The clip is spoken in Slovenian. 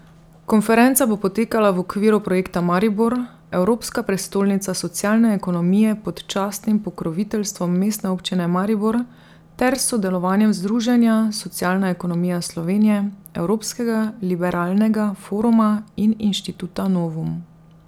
Konferenca bo potekala v okviru projekta Maribor, Evropska prestolnica socialne ekonomije pod častnim pokroviteljstvom Mestne občine Maribor ter s sodelovanjem združenja Socialna ekonomija Slovenije, Evropskega Liberalnega foruma in Inštituta Novum.